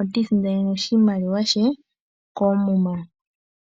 otiisindanene oshimaliwa she koomuma.